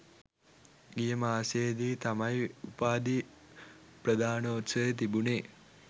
ගිය මාසයේ දී තමයි උපාධි ප්‍රධානෝත්සවය තිබුණේ.